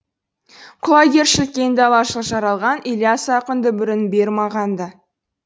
құлагершіл кең далашыл жаралған ілияс ақын дүбірін бер маған да